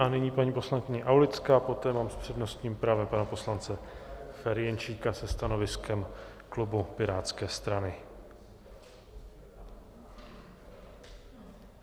A nyní paní poslankyně Aulická, poté mám s přednostním právem pana poslance Ferjenčíka se stanoviskem klubu Pirátské strany.